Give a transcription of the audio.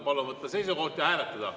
Palun võtta seisukoht ja hääletada!